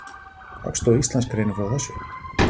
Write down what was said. Hagstofa Íslands greinir frá þessu.